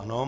Ano.